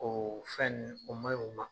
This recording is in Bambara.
O fɛn nin o man ɲi o ma.